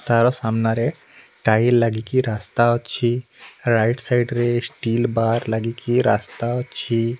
ତାର ସାମ୍ନାରେ ଟାଇଲ୍ ଲାଗିକି ରାସ୍ତା ଅଛି ରାଇଟ୍ ସାଇଡ଼ ରେ ଷ୍ଟିଲ ବାର୍ ଲାଗିକି ରାସ୍ତା ଅଛି।